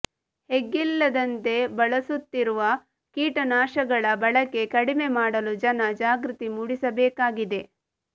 ಎಗ್ಗಿಲ್ಲದಂತೆ ಬಳಸುತ್ತಿರುವ ಕೀಟನಾಶಕಗಳ ಬಳಕೆ ಕಡಿಮೆ ಮಾಡಲು ಜನ ಜಾಗೃತಿ ಮೂಡಿಸಬೇಕಾಗಿದೆ